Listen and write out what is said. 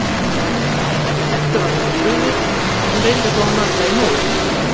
Eddu var nokkuð brugðið, en hún reyndi þó að malda í móinn.